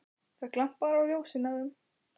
Það glampar á ljósin af þeim.